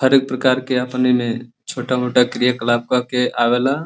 हरेक प्रकार के आपन एमे छोटा मोटा क्रियाकलाप कके आवे ला